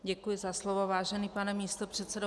Děkuji za slovo, vážený pane místopředsedo.